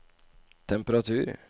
temperatur